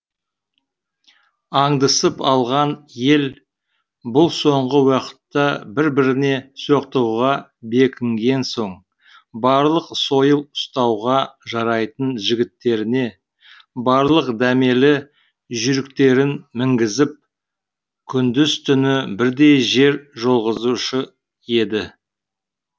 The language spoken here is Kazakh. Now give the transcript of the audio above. аңдысып алған ел бұл соңғы уақытта бір біріне соқтығуға бекінген соң барлық сойыл ұстауға жарайтын жігіттеріне барлық дәмелі жүйріктерін мінгізіп күндіз түні бірдей жер жолғызушы еді